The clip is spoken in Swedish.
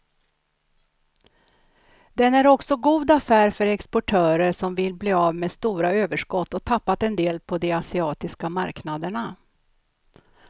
Den är också god affär för exportörer som vill bli av med stora överskott och tappat en del på de asiatiska marknaderna.